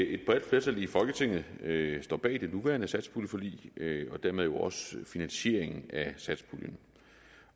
at et bredt flertal i folketinget står bag det nuværende satspuljeforlig og dermed også finansieringen af satspuljen